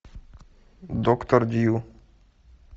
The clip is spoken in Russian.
доктор дью